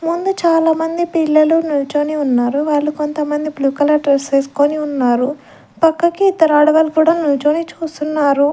ముందు చానా మంది పిల్లలు నుల్చొని ఉన్నారు వాళ్ళు కొంతమంది బ్లూ కలర్ డ్రెస్ వేస్కొని ఉన్నారు పక్కకి ఇద్దరు ఆడవాళ్ళు కూడా నుంచొని చూస్తున్నారు.